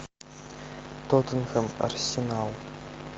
тоттенхэм арсенал